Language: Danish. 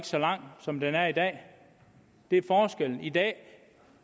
så lang som den er i dag det er forskellen i dag